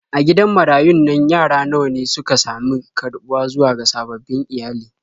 A gidan marayun nan yara nawa ne suka sami karɓuwa zuwa ga sababbin iyali.